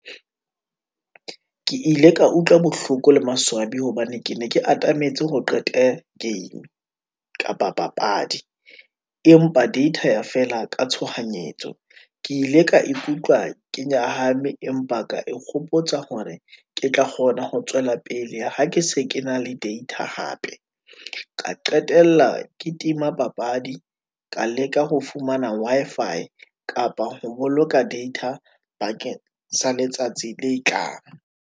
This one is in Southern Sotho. Ke ile ka utlwa bohloko le maswabi, hobane ke ne ke atametse hore qete game kapa papadi , empa data ya fela ka tshohanyetso. Ke ile ka ikutlwa ke nyahame, empa ka e kgopotsa hore ke tla kgona ho tswela pele, ha ke se ke na le data hape. Ka qetella ke tima papadi, ka leka ho fumana Wi-Fi kapa ho boloka data bakeng sa letsatsi letlang.